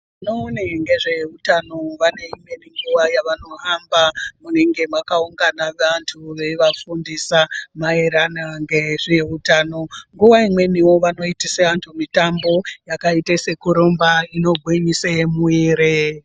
Vanoona ngezveutano vane imweni nguwa yevanohamba kunenge kakaungana vantu, veivafundisa maererano ngezveutano. Nguwa imweniwo vanoitisa vantu mitambo yakaita sekurumba kuitira kugwinyisa mwiri.